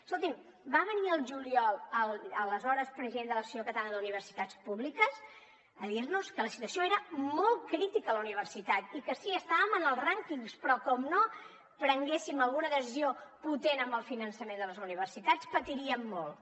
escolti’m va venir el juliol l’aleshores president de l’associació catalana d’universitats públiques a dir nos que la situació era molt crítica a la universitat i que sí estàvem en els rànquings però com no prenguéssim alguna decisió potent en el finançament de les universitats patiríem molt